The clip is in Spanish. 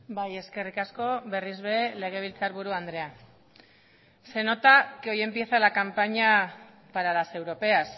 bai eskerrik asko berriz ere legebiltzarburu andrea se nota que hoy empieza la campaña para las europeas